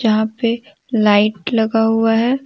जहां पे लाइट लगा हुआ है।